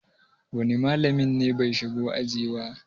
wane malamin ne bai shigo aji ba?